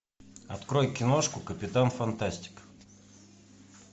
открой киношку капитан фантастик